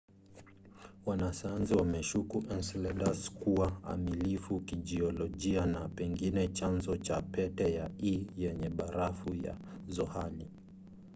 wanasayansi wameshuku enceladus kuwa amilifu kijiolojia na pengine chanzo cha pete ya e yenye barafu ya zohali